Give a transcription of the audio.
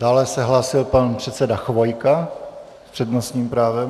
Dále se hlásil pan předseda Chvojka s přednostním právem.